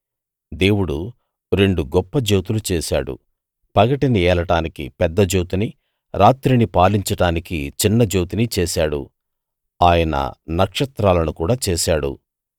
దేవుడు రెండు గొప్ప జ్యోతులు చేశాడు పగటిని ఏలడానికి పెద్ద జ్యోతిని రాత్రిని పాలించడానికి చిన్న జ్యోతిని చేశాడు ఆయన నక్షత్రాలను కూడా చేశాడు